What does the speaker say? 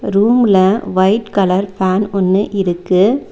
ரூம்முல white colour fan ஒன்னு இருக்கு.